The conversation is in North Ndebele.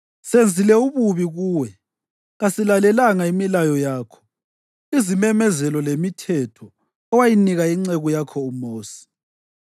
Senzile ububi kuwe. Kasilalelanga imilayo yakho, izimemezelo lemithetho owayinika inceku yakho uMosi.”